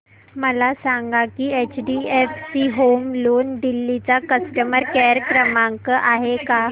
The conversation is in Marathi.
मला सांगा की एचडीएफसी होम लोन दिल्ली चा कस्टमर केयर क्रमांक आहे का